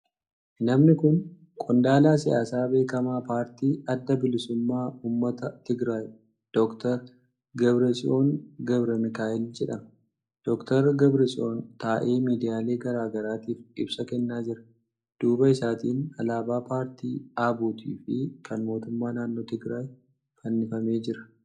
Namni kun qondaala siyaasaa beekamaa paartii Adda Bilisummaa Uummata Tigraay Dr. Debretsiyoon Gabremikaa'el jedhama. Dr. Debretsiyoon taa'ee miidiyaalee garaa garaatiif ibsa kennaa jira. Duuba isaatiin alaabaan paartii ABUT fi kan mootummaa naannoo Tigiraay fannifamee jira.